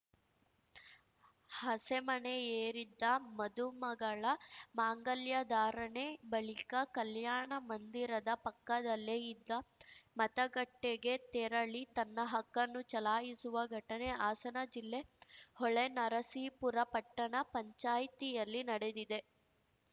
ಹಸೆಮಣೆಯೇರಿದ್ದ ಮದುಮಗಳ ಮಾಂಗಲ್ಯಧಾರಣೆ ಬಳಿಕ ಕಲ್ಯಾಣ ಮಂದಿರದ ಪಕ್ಕದಲ್ಲೇ ಇದ್ದ ಮತಗಟ್ಟೆಗೆ ತೆರಳಿ ತನ್ನ ಹಕ್ಕನ್ನು ಚಲಾಯಿಸುವ ಘಟನೆ ಹಾಸನ ಜಿಲ್ಲೆ ಹೊಳೆನರಸೀಪುರ ಪಟ್ಟಣ ಪಂಚಾಯ್ತಿಯಲ್ಲಿ ನಡೆದಿದೆ